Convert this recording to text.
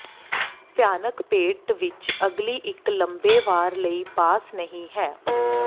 ਭਿਆਨਕ ਪੇਟ ਵਿਚ ਅਗਲੀ ਇੱਕ ਲੰਮੇ ਵਾਰ ਲਈ ਪਾਸ ਨਹੀ ਹੈ